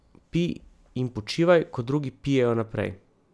Pij in počivaj, ko drugi pijejo naprej.